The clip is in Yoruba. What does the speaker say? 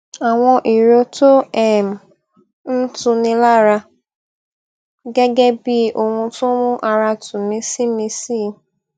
àwọn ìró tó um n tu ni lára gẹgẹ bí i ohun tí ó n mú ara tù mí si mí si i